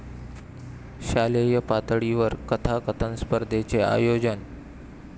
शालेय पातळीवर कथाकथन स्पर्धेचे आयोजन